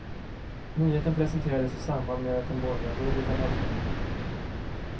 Nyheten presenterades i samband med att den borgerliga budgeten lades fram.